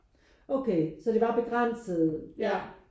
Okay så det var begrænset ja